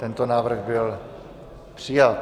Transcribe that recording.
Tento návrh byl přijat.